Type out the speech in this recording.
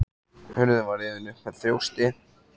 Hurðin var rifin upp með þjósti.